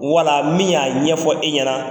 Wala min y'a ɲɛfɔ e ɲɛna